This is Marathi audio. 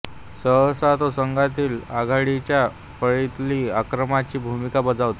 सहसा तो संघातील आघाडीच्या फळीतील आक्रमकाची भूमिका बजावतो